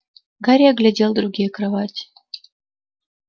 гарри оглядел другие кровати